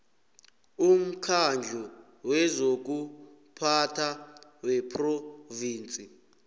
umkhandlu wezokuphatha wephrovinsi